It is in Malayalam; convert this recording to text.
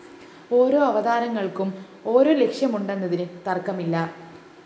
ഓരോ അവതാരങ്ങള്‍ക്കും ഓരോ ലക്ഷ്യമുണ്ടെന്നതിന് തര്‍ക്കമില്ല